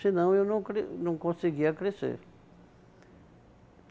Senão, eu não não conseguia crescer.